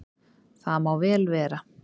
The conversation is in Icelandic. Það má vel vera.